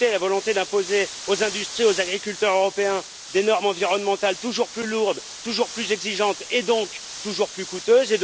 D'un côté, la volonté d'imposer aux industries et aux agriculteurs européens des normes environnementales toujours plus lourdes, toujours plus exigeantes, et donc toujours plus coûteuses.